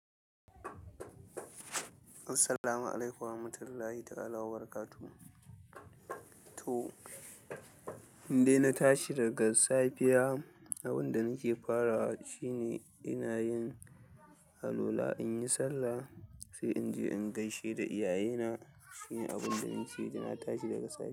Assalamu alaikum wa rahmatullahi ta'ala wa barakatu. To, indai na tashi daga safiya abinda nake farawa shine ina yin alwala, in yi sallah, sai in je in gaishe da iyayena shine abin da nake da na tashi daga safe.